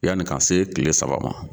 Yanni k'an se kile saba ma.